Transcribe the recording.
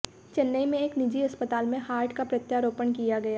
चेन्नई में एक निजी अस्पताल में हार्ट का प्रत्यारोपण किया गया